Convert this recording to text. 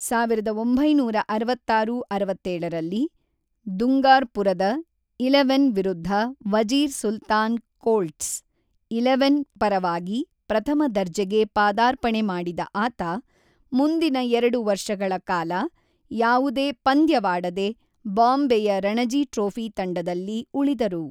ಸಾವಿರದ ಒಂಬೈನೂರ ಅರವತ್ತಾರು - ಅರವತ್ತೇಳರಲ್ಲಿ ದುಂಗಾರ್ಪುರದ ಇಲೆವನ್ ವಿರುದ್ಧ ವಜೀರ್ ಸುಲ್ತಾನ್ ಕೋಲ್ಟ್ಸ್ ಇಲೆವನ್ ಪರವಾಗಿ ಪ್ರಥಮ ದರ್ಜೆಗೆ ಪಾದಾರ್ಪಣೆ ಮಾಡಿದ ಆತ, ಮುಂದಿನ ಎರಡು ವರ್ಷಗಳ ಕಾಲ ಯಾವುದೇ ಪಂದ್ಯವಾಡದೆ ಬಾಂಬೆಯ ರಣಜಿ ಟ್ರೋಫಿ ತಂಡದಲ್ಲಿ ಉಳಿದರು.